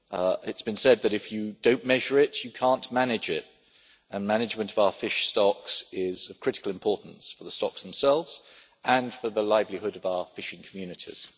It has been said that if you do not measure it, you cannot manage it, and management of our fish stocks is of critical importance for the stocks themselves and for the livelihood of our fishing communities.